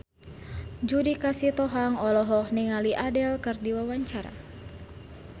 Judika Sitohang olohok ningali Adele keur diwawancara